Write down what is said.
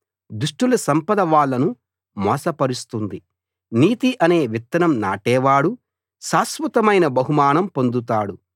దుష్టుల సంపద వాళ్ళను మోసపరుస్తుంది నీతి అనే విత్తనం నాటేవాడు శాశ్వతమైన బహుమానం పొందుతాడు